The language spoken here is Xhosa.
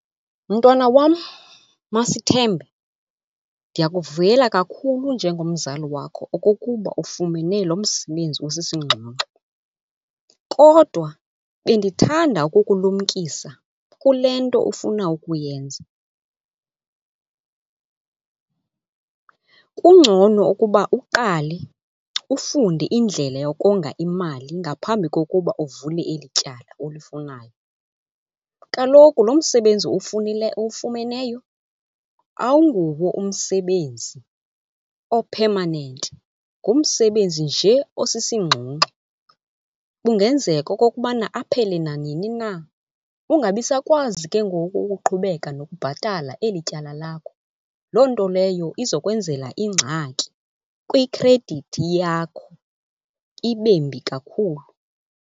Mntwana wam, Masithembe, ndiyakuvuyela kakhulu njengomzali wakho okokuba ufumene lo msebenzi usisingxunxgu. Kodwa bendithanda ukukulumkisa kule nto ufuna ukuyenza. Kungcono ukuba uqale ufunde indlela yokonga imali ngaphambi kokuba uvule eli tyala ulifunayo. Kaloku lo msebenzi uwufumeneyo awunguwo umsebenzi o-permanent, ngumsebenzi nje osisingxungxu. Kungenzeka okokubana aphele nanini na ungabi sakwazi ke ngoku ukuqhubeka nokubhatala eli tyala lakho. Loo nto leyo izokwenzela ingxaki kwikhredithi yakho, ibembi kakhulu.